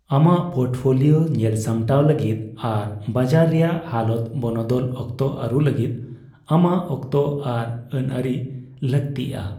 ᱟᱢᱟᱜ ᱯᱳᱨᱴᱯᱷᱳᱞᱤᱭᱳ ᱧᱮᱞ ᱥᱟᱟᱢᱴᱟᱣ ᱞᱟᱹᱜᱤᱫ ᱟᱨ ᱵᱟᱡᱟᱨ ᱨᱮᱭᱟᱜ ᱦᱟᱞᱚᱛ ᱵᱚᱱᱚᱫᱚᱞ ᱚᱠᱛᱚ ᱟᱹᱨᱩ ᱞᱟᱹᱜᱤᱫ ᱟᱢᱟᱜ ᱚᱠᱛᱚ ᱟᱨ ᱟᱹᱱ ᱟᱹᱨᱤ ᱞᱟᱹᱠᱛᱤᱜᱼᱟ ᱾